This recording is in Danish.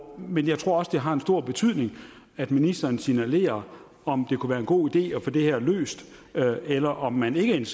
men jeg tror også det har stor betydning at ministeren signalerer om det kunne være en god idé at få det her løst eller om man ikke er